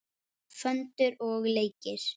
Föndur og leikir.